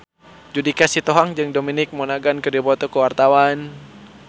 Judika Sitohang jeung Dominic Monaghan keur dipoto ku wartawan